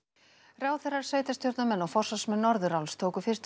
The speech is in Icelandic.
ráðherrar sveitarstjórnarmenn og forsvarsmenn Norðuráls tóku fyrstu